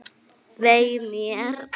Vei mér.